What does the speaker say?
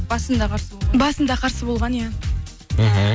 басында қарсы болған басында қарсы болған иә мхм